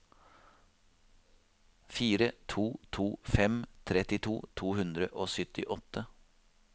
fire to to fem trettito to hundre og syttiåtte